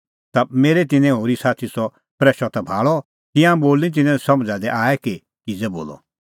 ता मेरै तिन्नैं होरी साथी सह प्रैशअ ता भाल़अ तिंयां बोल निं तिन्नें समझ़ा दी आऐ कि किज़ै बोलअ